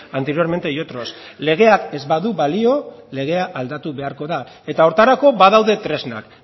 anteriormente y otros legeak ez badu balio legea aldatu beharko da eta horretarako badaude tresnak